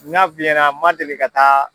N ɲ'a f'i ɲɛna n man deli ka taa